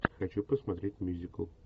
хочу посмотреть мюзикл